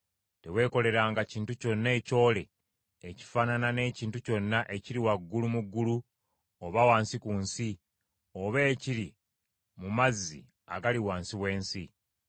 Teweekoleranga kintu kyonna ekyole ekifaanana n’ekintu kyonna ekiri waggulu mu ggulu, oba wansi ku nsi, oba ekiri mu mazzi agali wansi w’ensi.